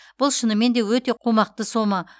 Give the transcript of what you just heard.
бұл шынымен де өте қомақты сома